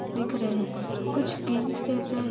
दिख रहे है। कुछ गेम्स खेल रहे --